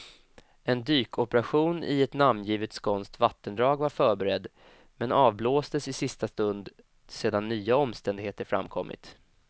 En dykoperation i ett namngivet skånskt vattendrag var förberedd, men avblåstes i sista stund sedan nya omständigheter framkommit.